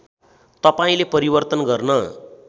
तपाईँले परिवर्तन गर्न